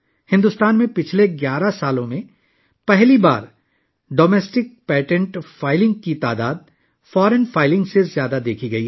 بھارت میں گزشتہ 11 سالوں میں پہلی بار گھریلو پیٹنٹ فائلنگ کی تعداد غیر ملکی فائلنگ سے زیادہ دیکھی گئی